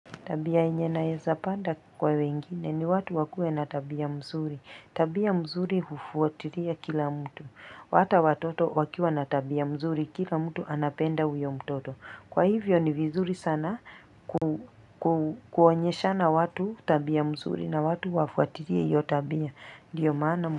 Tabia yenye nawezapanda kwa wengine ni watu wakuwe na tabia mzuri. Tabia mzuri hufuatilia kila mtu. Hata watoto wakiwa na tabia mzuri kila mtu anapenda huyo mtoto. Kwa hivyo ni vizuri sana kuonyeshana watu tabia mzuri na watu wafuatilie hiyo tabia.